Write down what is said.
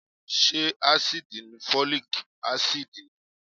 Ṣé ásíìdì ni Folic Acid ni?